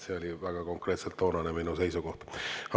See oli väga konkreetselt toonane minu seisukoht.